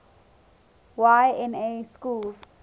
y na schools